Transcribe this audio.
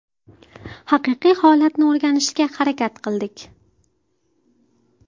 Haqiqiy holatni o‘rganishga harakat qildik.